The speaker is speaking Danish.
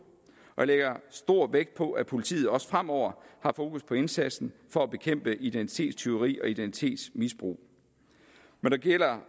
og jeg lægger stor vægt på at politiet også fremover har fokus på indsatsen for at bekæmpe identitetstyveri og identitetsmisbrug når det gælder